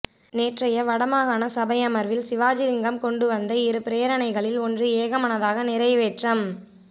நேற்றைய வடமாகாண சபை அமர்வில் சிவாஜிலிங்கம் கொண்டு வந்த இரு பிரேரணைகளில் ஒன்று ஏகமனதாக நிறைவேற்றம்